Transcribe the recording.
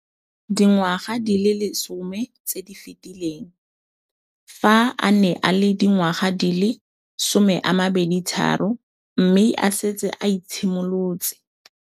Dingwaga di le 10 tse di fetileng, fa a ne a le dingwaga di le 23 mme a setse a itshimoletse